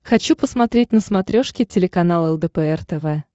хочу посмотреть на смотрешке телеканал лдпр тв